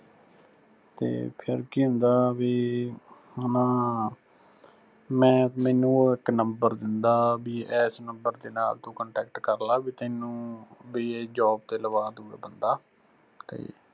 ਤੇ ਫਿਰ ਕੀ ਹੁੰਦਾ ਵੀ ਨਾ, ਮੈਂ ਮੈਨੂੰ ਉਹ ਇੱਕ number ਦਿੰਦਾ ਬੀ ਏਸ number ਤੇ ਨਾਂ ਤੂੰ contact ਕਰਲਾ ਵੀ ਤੈਨੂੰ ਬੀ ਏ job ਤੇ ਲਵਾ ਦੂ ਏ ਬੰਦਾ ਤੇ